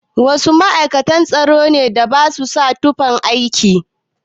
Wasu ma'aikatan tsaro da ba su sa tufan aiki?